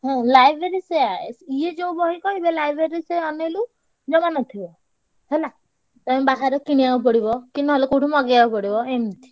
ହଁ library ସେୟା ଇଏ ଯୋଉ ବହି କହିବେ library ରେ ସେୟା ଅନେଇଲୁ ଜମାନଥିବ ହେଲା। ଯାଇ ବାହାରେ କିଣିଆକୁ ପଡିବ କି କୋଉଠୁ ମଗେଇଆକୁ ପଡିବ ଏମତି।